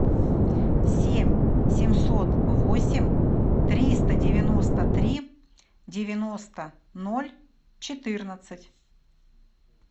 семь семьсот восемь триста девяносто три девяносто ноль четырнадцать